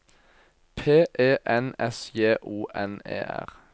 P E N S J O N E R